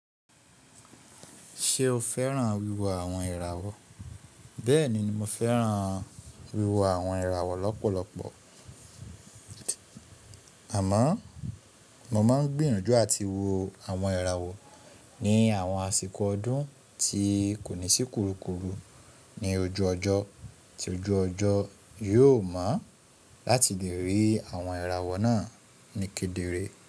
Ṣé o fẹ́ràn wíwo àwọn ìràwọ̀? Bẹ́ẹ̀ni, mo fẹ́ràn wíwo àwọn ìràwọ̀ lọ́pọ̀lọpọ̀. Àmọ́ mo má ń gbìyanjú àti wo àwọn ìràwọ̀ ní àwọn àsìkò ọdún tí kò ní sí kurukuru ní ojú ọjọ́ tí ojú ọjọ́ yóò mọ́ láti lè rí àwọn ìràwọ̀ náà ní kedere.